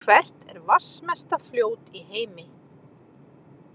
Hvert er vatnsmesta fljót í heimi?